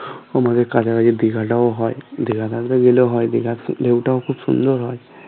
আমাদের কাছাকাছি দিঘাটাও হয় দিঘাটাকে গেলেও হয় দিঘার ঢেউটা ও খুব সুন্দর হয়